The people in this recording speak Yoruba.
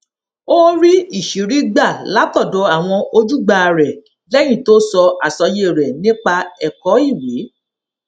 ó rí ìṣírí gbà látòdò àwọn ojúgbà rè léyìn tó sọ àsọyé rè nípa èkó ìwé